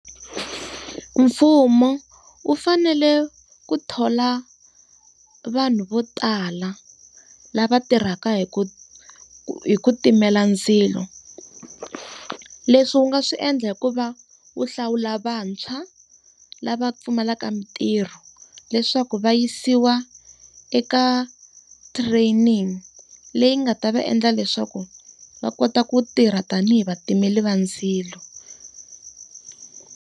Mfumo u fanele ku thola vanhu vo tala lava tirhaka hi ku hi ku timela ndzilo. Leswi wu nga swi endla hi ku va wu hlawula vantshwa lava pfumalaka mintirho, leswaku va yisiwa eka training leyi nga ta va endla leswaku va kota ku tirha tanihi vatimeri va ndzilo.